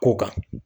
K'o kan